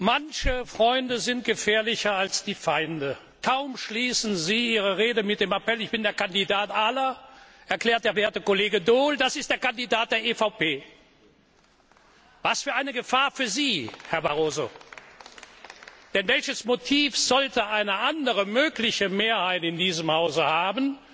Manche Freunde sind gefährlicher als Feinde. Kaum schließen Sie Ihre Rede mit dem Appell Ich bin der Kandidat aller!, erklärt der werte Kollege Daul Das ist der Kandidat der EVP. Was für eine Gefahr für Sie, Herr Barroso! Denn welches Motiv sollte eine andere mögliche Mehrheit in diesem Hause haben,